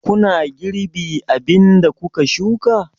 Kuna girbi abin da kuka shuka?